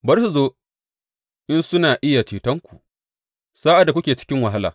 Bari su zo in suna iya cetonku sa’ad da kuke cikin wahala!